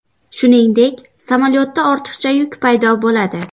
Shuningdek, samolyotda ortiqcha yuk paydo bo‘ladi.